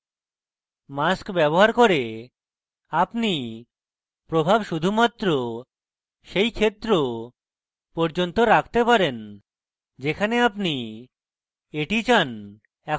mask ব্যবহার করে আপনি প্রভাব শুধুমাত্র সেই ক্ষেত্র পর্যন্ত রাখতে পারেন যেখানে আপনি এটি চান